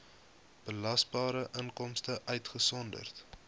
belasbare inkomste uitgesonderd